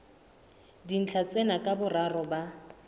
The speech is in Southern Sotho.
dintlha tsena ka boraro ba